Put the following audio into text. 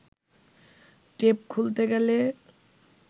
tape খুলতে গেলে